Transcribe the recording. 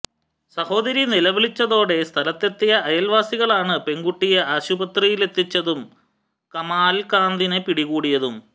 സഹോദരി നിലവിളച്ചതോടെ സ്ഥലത്തെത്തിയ അയല്വാസികളാണ് പെണ്കുട്ടിയെ ആശുപത്രിയിലെത്തിച്ചതും കമാല്കാന്തിനെ പിടികൂടിയതും